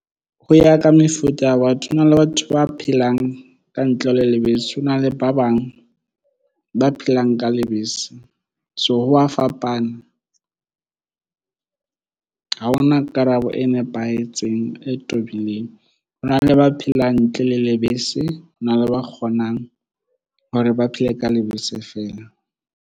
Ho ya ka mefuta ya batho hona le batho ba phelang ka ntle le lebese ho na le ba bang ba phelang ka lebese. So, ho wa fapana ha hona karabo e nepahetseng, e tobileng. Ho na le ba phela ntle le lebese hona le ba kgonang hore ba phele ka lebese fela.